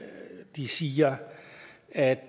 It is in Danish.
de siger at